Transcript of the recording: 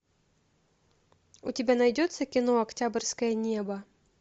у тебя найдется кино октябрьское небо